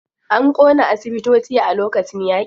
An ƙona asibitoci a lokacin yaƙi.